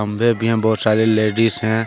बहुत सारे लेडीस हैं।